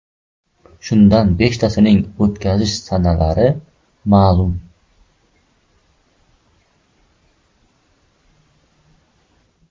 Shundan beshtasining o‘tkazilish sanalari ma’lum.